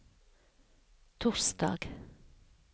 torsdag